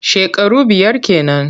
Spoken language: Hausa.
Shekaru biyar ke nan.